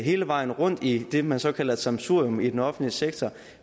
hele vejen rundt i det man så kalder et sammensurium i den offentlige sektor